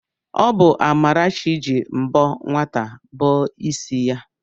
Ọ bụ Amarachi ji mbọ nwata bọọ ịsị ya.